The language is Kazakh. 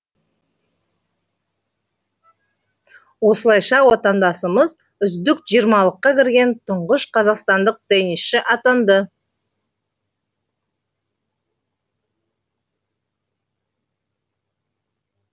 осылайша отандасымыз үздік жиырмалыққа кірген тұңғыш қазақстандық теннисші атанды